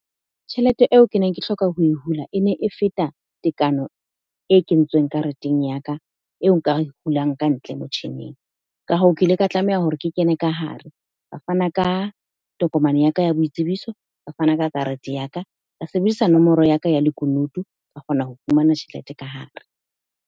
Tjhelete eo ke neng ke hloka ho e hula. E ne e feta tekano e kentsweng kareteng ya ka, eo nka e hulang ka ntle motjhining. Ka hoo, ke ile ka tlameha hore ke kene ka hare. Ka fana ka tokomane ya ka ya boitsebiso, ka fana ka karete ya ka. Ka sebedisa nomoro ya ka ya lekunutu, ka kgona ho fumana tjhelete ka hare.